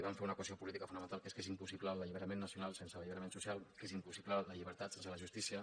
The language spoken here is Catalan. van fer una equació política fonamental que és que és impossible l’alliberament nacional sense l’alliberament social que és impossible la llibertat sense la justícia